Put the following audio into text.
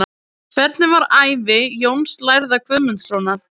Hvernig var ævi Jóns lærða Guðmundssonar?